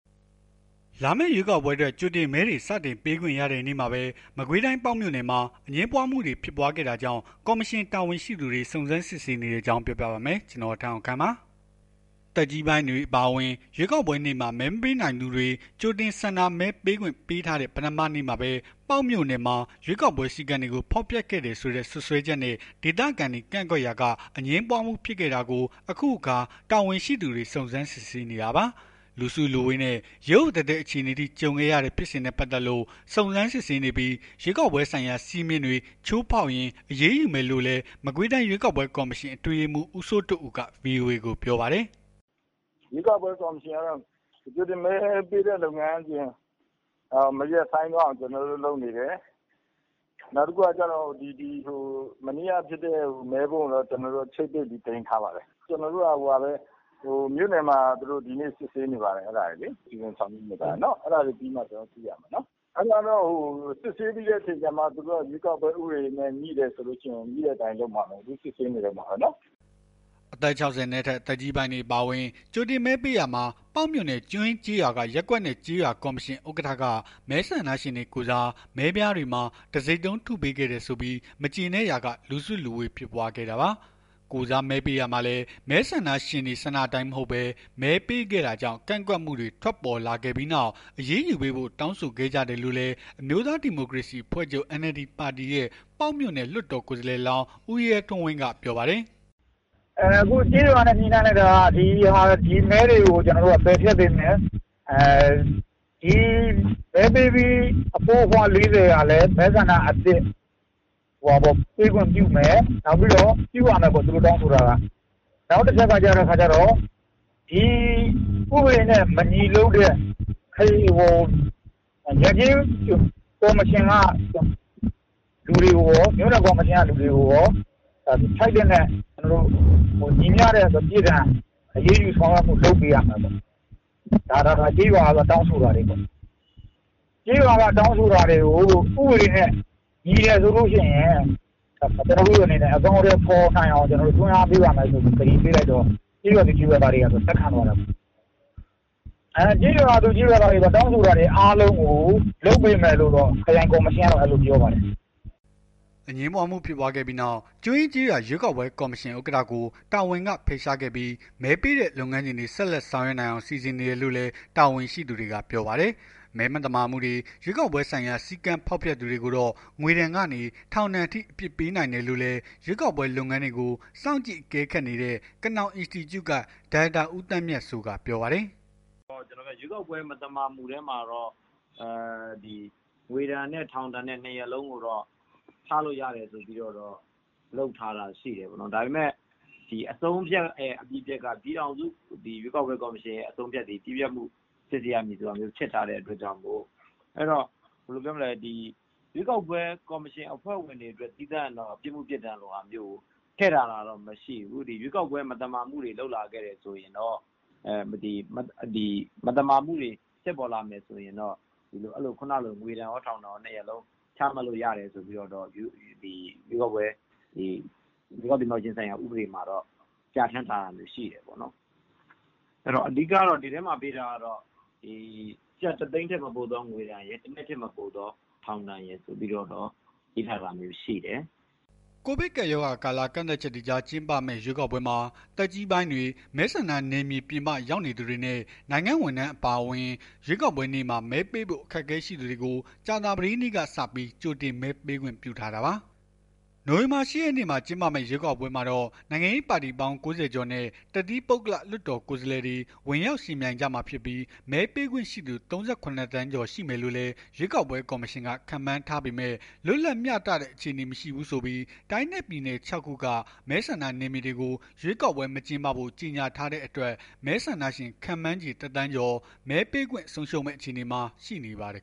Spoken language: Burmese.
လာမယ့် ရွေးကောက်ပွဲအတွက် ကြိုတင်မဲတွေ စတင်ပေးခွင့်ရတဲ့နေ့မှာပဲ မကွေးတိုင်း ပေါက်မြို့နယ်မှာ အငြင်းပွားမှု ဖြစ်ပွားခဲ့တာကြောင့် ကော်မရှင်တာဝန်ရှိသူတွေ စုံစမ်းစစ်ဆေးနေတဲ့အကြောင်း ပြောပြပါမယ်။ ဗွီအိုအေမြန်မာပိုင်းသတင်းထောက် ကိုထက်အောင်ခန့်က သတင်းပေးပို့ထားပါတယ်။ သက်ကြီးပိုင်းတွေ အပါအဝင် ရွေးကောက်ပွဲနေ့မှာ မဲမပေးနိုင်တဲ့သူတွေ ကြိုတင် ဆန္ဒမဲပေးခွင့်ပေးထားတဲ့ ပထမနေ့မှာပဲ ပေါက်မြို့နယ်မှာ ရွေးကောက်ပွဲ စည်းကမ်းတွေကို ဖောက်ဖျက်ခဲ့တယ်ဆိုတဲ့ စွပ်စွဲချက်နဲ့ ဒေသခံတွေ ကန့်ကွက်ရာက အငြင်းပွားမှု ဖြစ်ခဲ့တာကို အခုအခါ တာဝန်ရှိသူတွေ စုံစမ်းစစ်ဆေးနေတာပါ။ လူစုလူဝေးနဲ့ ရုတ်ရုတ်သဲသဲ အခြေအနေအထိ ကြုံခဲ့ရတဲ့ ဖြစ်စဉ်နဲ့ ပတ်သက်လို့ စုံစမ်းစစ်ဆေးနေပြီး ရွေးကောက်ပွဲဆိုင်ရာ စည်းမျဉ်းတွေ ချိုးဖောက်ရင် အရေးယူမယ်လို့လည်း မကွေးတိုင်း ရွေးကောက်ပွဲကော်မရှင် အတွင်းရေးမှူး ဦးစိုးထွဋ်ဦးက ဗွီအိုအေကို ပြောပါတယ်။ “ရွေးကောက်ပွဲကော်မရှင်ကတော့ ကြိုတင်မဲပေးတဲ့ လုပ်ငန်းစဉ် မရပ်ဆိုင်းသွားအောင်တော့ ကျွန်တော်တို့ လုပ်နေတယ်။ နောက်တခုက မနေ့ကဖြစ်တဲ့ မဲပုံးကိုတော့ ချိတ်ပိတ်ပြီး သိမ်းထားပါတယ်။ ကျွန်တော်တို့က မြို့နယ်မှာ စစ်ဆေးနေပါတယ်။ အဲ့ဒါတွေ စီစဉ်ဆောင်ရွက်နေပါတယ်။ အဲ့ဒါလေးပြီးမှ ကျွန်တော်တို့ သိရမယ်။ စစ်ဆေးပြီးခဲ့အခါ ကျတော့မှ ရွေးကောက်ပွဲဥပဒေနဲ့ ငြိတယ်ဆိုရင် ငြိတဲ့အတိုင်းလုပ်မှာပဲလေ စစ်ဆေးနေတုန်းပါပဲ။” အသက် ၆၀ နဲ့အထက် သက်ကြီးပိုင်းတွေ အပါအဝင် ကြိုတင်မဲပေးရာမှာ ပေါက်မြို့နယ် ကျွန်းရင်းကျေးရွာက ရပ်ကွက်နဲ့ကျေးရွာ ကော်မရှင် ဥက္ကဌက မဲဆန္ဒရှင်တွေကိုယ်စား မဲပြားတွေမှာ တံဆိပ်တုံး ထုပေးခဲ့တယ်ဆိုပြီး မကျေနပ်ကြရာက လူစုလူဝေးဖြစ်ပွားခဲ့တာပါ။ ကိုယ်စားမဲပေးရာမှာလည်း မဲဆန္ဒရှင်တွေ ဆန္ဒအတိုင်းမဟုတ်ဘဲ မဲပေးခဲ့တာကြောင့် ကန့်ကွက်မှုတွေ ထွက်ပေါ်ခဲ့ပြီးနောက် အရေးယူပေးဖို့ တောင်းဆိုခဲ့ကြတယ်လို့လည်း အမျိုးသားဒီမိုကရေစီ အဖွဲ့ချုပ် NLD ပါတီရဲ့ ပေါက်မြို့နယ် လွှတ်တော်ကိုယ်စားလှယ်လောင်း ဦးရဲထွန်းဝင်းက ပြောပါတယ်။ “အခုကျေးရွာနဲ့ ညှိနှိုင်းလိုက်တာက ဒီမဲတွေကို ပယ်ဖျက်ပေးမယ်။ မဲပေးပြီး အဖိုးအဖွား ၄၀ ဟာလည်း မဲဆန္ဒအသစ် ပေးခွင့်ပြုမယ်။ ပြုရမယ်ပေါ့ သူတို့တောင်းဆိုထားတာ။ နောက်တခုကကျတော့ ဥပဒေနဲ့ မညီလုပ်တဲ့ ရပ်ကျေး ကော်မရှင်က လူတွေကိုကော မြို့နယ်ကော်မရှင်က လူတွေကိုကော ထိုက်သင့်တဲ့ ပြစ်ဒဏ် အရေးယူ ဆောင်ရွက်ပေးဖို့ လုပ်ပေးရမယ်ပေါ့။ ဒါကျေးရွာက တောင်းဆိုတာတွေပေါ့။ ကျေးရွာက တောင်းဆိုတာတွေကို ဥပနေဲ့ညီတယ်ဆိုရင် အကောင်အထည်ဖော်နိုင်အောင် တွန်းအားပေးပါ့မယ်လို့ ကျွန်တော်တို့အနေနဲ့ ကတိပေးလိုက်တော့ ကျေးရွာသူ ကျေးရွာသားတွေက လက်ခံသွားတယ်ပေါ့။ ကျေးရွာသူ ကျေးရွာသားတွေ တောင်းဆိုတာတွေကို လုပ်ပေးမယ်လို့တော့ ခရိုင်ကော်မရှင်က အဲ့လိုပြောသွားပါတယ်။” အငြင်းပွားမှုဖြစ်ပွားခဲ့ပြီးနောက် ကျွန်းရင်းကျေးရွာ ရွေးကောက်ပွဲကော်မရှင် ဥက္ကဌကို တာဝန်က ဖယ်ရှားခဲ့ပြီး မဲပေးတဲ့ လုပ်ငန်းစဉ်တွေ ဆက်လက်ဆောင်ရွက်နိုင်အောင် စီစဉ်နေတယ်လို့လည်း တာဝန်ရှိသူတွေက ပြောပါတယ်။ မဲမသမာမှု ရွေးကောက်ပွဲဆိုင်ရာ စည်းကမ်းဖောက်ဖျက်သူတွေကိုတော့ ငွေဒဏ်ကနေ ထောင်ဒဏ်အထိ အပြစ်ပေးနိုင်တယ်လို့လည်း ရွေးကောက်ပွဲလုပ်ငန်းတွေကို စောင့်ကြည့် အကဲခတ်နေတဲ့ ကနောင် အင်စတီကျုက ဒါရိုက်တာ ဦးသန်းမြတ်စိုးက ပြောပါတယ်။ “ရွေးကောက်ပွဲမသမာမှုထဲမှာတော့ ငွေဒဏ်နဲ့ ထောင်ဒဏ် ၂ ရပ်လုံးကိုတော့ ချလို့ရတယ်ဆိုပြီး ချလို့ရတယ်လို့ လုပ်ထားတာရှိတယ်ပေါ့။ ဒါပေမယ့် အဆုံးအဖြတ်နဲ့ အပြီးပြတ်က ပြည်ထောင်စု ရွေးကောက်ပွဲကော်မရှင်ရဲ့ အတည်ပြုချက်သည် အပြီးပြတ်ဖြစ်ထားတဲ့အခါကျတော့ ရွေးကောက်ပွဲကော်မရှင်အဖွဲ့ဝင်တွေအတွက်တော့ ပြစ်မှုပြစ်ဒဏ်ထည့်ထားတာမရှိဘူး။ ဒီရွေးကောက်ပွဲ မသမာမှုတွေလုပ်လာမယ် ဖြစ်လာမယ်ဆိုရင်တော့ ခုနကလို ငွေဒဏ်ကော ထောင်ဒဏ်ကော ၂ ရပ်လုံး ချမှတ်လို့ရတယ်လို့ ရွေးကောက်ပွဲ ရွေးကောက်တင်မြှောက်ခြင်းဆိုင်ရာ ဥပဒေမှာတော့ ပြဌာန်းထားတာတော့ ရှိတယ်ပေါ့နော်။ အဓိကတော့ ကျပ် ၁ သိန်းထက် မပိုသော ငွေဒဏ်ရယ် ၁ နှစ်ထက် မပိုသော ထောင်ဒဏ်ရယ် ရေးထားတာမျိုးရှိတယ်။” ကိုဗစ်ကပ်ရောဂါကာလ ကန့်သတ်ချက်တွေကြား ကျင်းပမယ့် ရွေးကောက်ပွဲမှာ သက်ကြီးပိုင်းတွေ၊ မဲဆန္ဒနယ်မြေပြင်ပ ရောက်နေသူတွေနဲ့ နိုင်ငံဝန်ထမ်းတွေ အပါအဝင် ရွေးကောက်ပွဲနေ့မှာ မဲပေးဖို့ အခက်အခဲရှိသူတွေကို ကြာသပတေးနေ့ကစပြီး ကြိုတင်မဲပေးခွင့် ပြုထားတာပါ။ နိုဝင်ဘာလ ၈ ရက်နေ့မှာ ကျင်းပမယ့် ရွေးကောက်ပွဲမှာတော့ နိုင်ငံရေးပါတီပေါင်း ၉၀ ကျော်နဲ့ တသီးပုဂ္ဂလလွှတ်တော်ကိုယ်စားလှယ်တွေ ဝင်ရောက်ယှဉ်ပြိုင်ကြမှာဖြစ်ပြီး မဲပေးခွင့်ရှိသူ ၃၇ သန်းကျော် ရှိမယ်လို့လည်း ရွေးကောက်ပွဲ ကော်မရှင်က ခန့်မှန်းထားပေမဲ့ လွတ်လပ်မျှတတဲ့ အခြေအနေမရှိဘူးဆိုပြီး တိုင်းနဲ့ပြည်နယ် ၆ ခုက မဲဆန္ဒနယ်မြေတွေကို ရွေးကောက်ပွဲ မကျင်းပဖို့ ကြေညာထားတဲ့အတွက် မဲဆန္ဒရှင် ခန့်မှန်းခြေ တသန်းကျော် မဲပေးခွင့်ဆုံးရှုံးမယ့် အခြေအနေမှာ ရှိနေပါတယ်